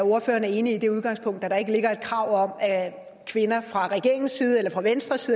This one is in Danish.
ordføreren er enig i det udgangspunkt at der ikke ligger et krav om at kvinder fra regeringens side eller fra venstres